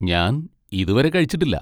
ഞാൻ ഇതുവരെ കഴിച്ചിട്ടില്ല.